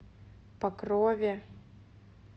покрове